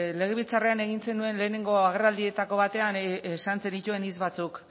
legebiltzarrean egin zenuen lehenengo agerraldietako batean esan zenituen hitz batzuk